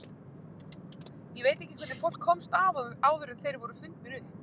Ég veit ekki hvernig fólk komst af áður en þeir voru fundnir upp.